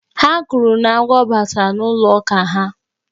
Ha kwuru na agwọ batara n'ụlọ ụka ha.